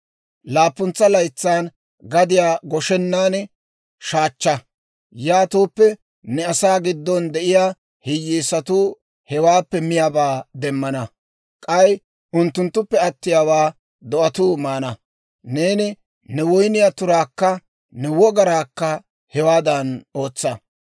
Laappuntsa laytsaan gadiyaa goshenan shaachcha; yaatooppe, ne asaa giddon de'iyaa hiyyeesatuu hewaappe miyaabaa demmana; k'ay unttunttuppe attiyaawaa do'atuu maana. Neeni ne woyniyaa turaakka ne wogaraakka hewaadan ootsa.